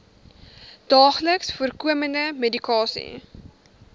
daagliks voorkomende medikasie